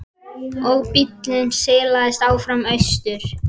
Og bíllinn silast áfram austur.